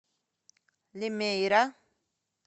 лимейра